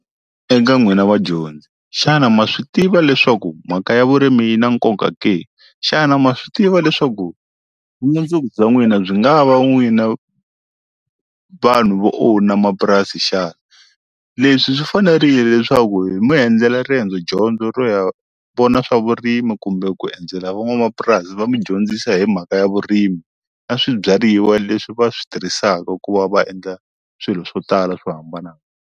Eka n'wina vadyondzi xana ma swi tiva leswaku mhaka ya vurimi yi na nkoka ke xana ma swi tiva leswaku vumundzuku bya n'wina byi nga va n'wina vanhu vo owner mapurasi xana leswi swi fanerile leswaku hi mi enudlela riendzo dyondzo ro ya vona swa vurimi kumbe ku endzela van'wamapurasi va mi dyondzisa hi mhaka ya vurimi na swibyariwa leswi va swi tirhisaka ku va va endla swilo swo tala swo hambanahambana.